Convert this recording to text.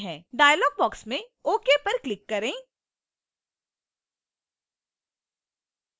dialog box में ok पर click करें